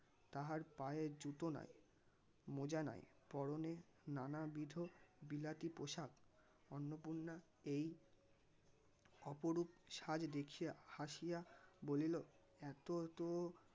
তাহার পায়ে জুতো নাই মোজা নাই পরনে নানাবিধ বিলাতি পোশাকী অন্নপূর্ণা এই অপরূপ সাজ দেখিয়া হাসিয়া বলিল এত এত